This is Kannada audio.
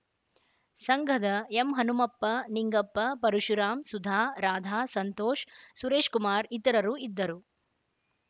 ಸಂಘದ ಎಂಹನುಮಪ್ಪ ನಿಂಗಪ್ಪ ಪರಶುರಾಮ್ ಸುಧಾ ರಾಧಾ ಸಂತೋಷ್‌ ಸುರೇಶಕುಮಾರ ಇತರರು ಇದ್ದರು